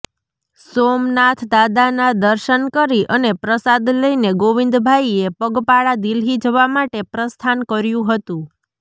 સોમનાથ દાદાના દર્શન કરી અને પ્રસાદ લઇને ગોવિંદભાઇએ પગપાળા દિલ્હી જવા માટે પ્રસ્થાન કર્યું હતું